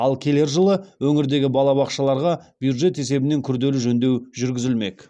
ал келер жылы өңірдегі балабақшаларға бюджет есебінен күрделі жөндеу жүргізілмек